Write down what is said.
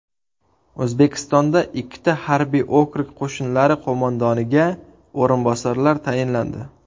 O‘zbekistonda ikkita harbiy okrug qo‘shinlari qo‘mondoniga o‘rinbosarlar tayinlandi.